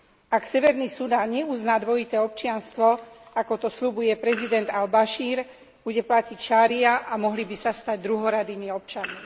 Ak Severný Sudán neuzná dvojité občianstvo, ako to sľubuje prezident al Bašír, bude platiť šaría, a mohli by sa stať druhoradými občanmi.